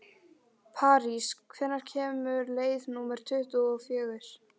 París, hvenær kemur leið númer tuttugu og fjögur?